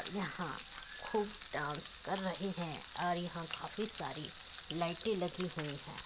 यहाँ खूब डांस कर रहे है और यहाँ काफी सारी लाइटे लगी हुई है।